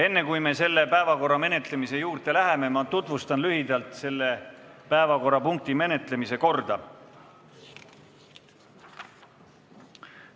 Enne, kui me selle päevakorrapunkti menetlemise juurde läheme, tutvustan lühidalt selle menetlemise korda.